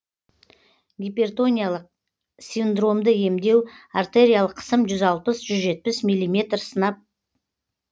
гипертониялык синдромды емдеу артериялық қысым жүз алпыс жүз жетпіс миллиметр сынап